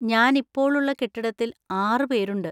ഞാൻ ഇപ്പോൾ ഉള്ള കെട്ടിടത്തിൽ ആറ് പേരുണ്ട്.